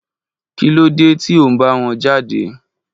Kí ló dé tí ó ń bá wọn jáde?